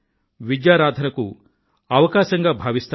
విద్యారాధనకు అవకాశంగా భావిస్తారు